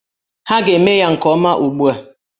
Ha ga-eme ya nke ọma ugbu a!